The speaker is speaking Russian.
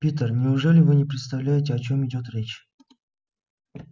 питер неужели вы не представляете о чём идёт речь